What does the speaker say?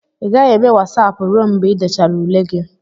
ị gaghị eme Wasapụ ruo mgbe ị dechara ule gị